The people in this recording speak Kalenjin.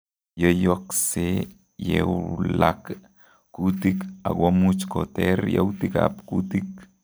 Yoiyoksee yewlak kuutik akomuch koter yautik ab kuutik